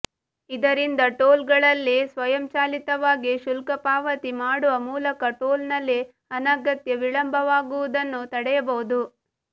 ಇದರಿಂದ ಟೋಲ್ ಗಳಲ್ಲಿ ಸ್ವಯಂಚಾಲಿತವಾಗಿ ಶುಲ್ಕಪಾವತಿ ಮಾಡುವ ಮೂಲಕ ಟೋಲ್ ನಲ್ಲಿ ಅನಗತ್ಯ ವಿಳಂಬವಾಗುವುದನ್ನು ತಡೆಯಬಹುದು